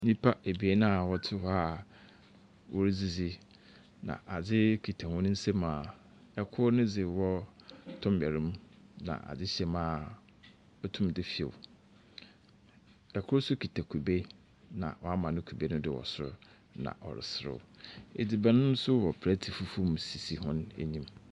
Nyimpa ebien a wɔtse hɔ a wɔredzizi, na adze kita hɔn nsamu a kor ne dze wɔ tɔmbɛr mu, na adze hyɛ mu a otum dze few. Kor nso kita kube, na ɔama no kube no do wɔ sor, na ɔresew. Edziban nso wɔ plate fufuw do sisi hɔn enyim.